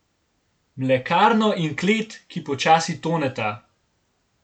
Mlekarno in klet, ki počasi toneta.